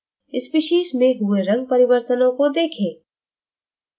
species में हुए रंग परिवर्तनों को देखें